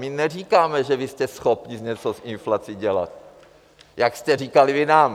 My neříkáme, že vy jste schopni něco s inflací dělat, jak jste říkali vy nám.